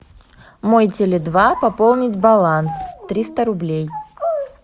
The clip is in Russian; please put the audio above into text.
мой теле два пополнить баланс триста рублей